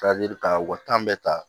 ka u ka bɛɛ ta